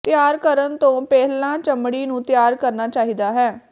ਤਿਆਰ ਕਰਨ ਤੋਂ ਪਹਿਲਾਂ ਚਮੜੀ ਨੂੰ ਤਿਆਰ ਕਰਨਾ ਚਾਹੀਦਾ ਹੈ